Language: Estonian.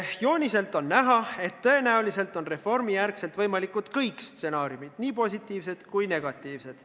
"Jooniselt on näha, et tõenäoliselt on reformi järgselt võimalikud kõik stsenaariumid – nii positiivsed kui negatiivsed.